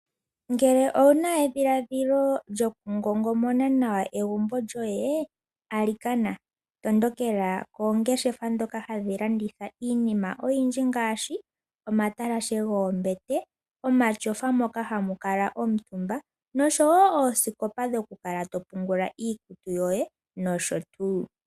Ngele owu na edhiladhilo lyo ku ngongomona nawa egumbo lyoye alikana, tondokela koongeshefa dhoka hadhi landitha iinima oyindji ngaashi, omatalashe goombete, omashofa mo ka hamu kalwa omutumba nosho wo oosikopa dhoku kala to pungula iikutu yoye nosho tuu.